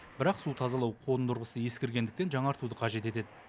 бірақ су тазалау қондырғысы ескіргендіктен жаңартуды қажет етеді